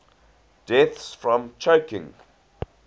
deaths from choking